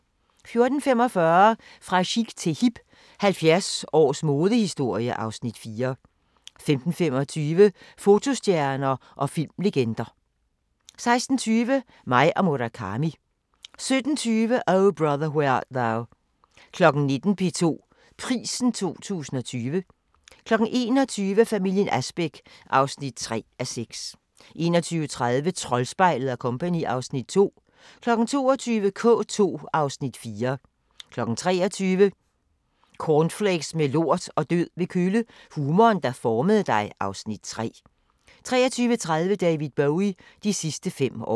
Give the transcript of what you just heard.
14:45: Fra chic til hip – 70 års modehistorie (Afs. 4) 15:25: Fotostjerner og filmlegender 16:20: Mig og Murakami 17:20: O Brother, Where Art Thou 19:00: P2 Prisen 2020 21:00: Familien Asbæk (3:6) 21:30: Troldspejlet & Co. (Afs. 2) 22:00: K2 (Afs. 4) 23:00: Cornflakes med lort og død ved kølle - humoren, der formede dig (Afs. 3) 23:30: David Bowie – de sidste fem år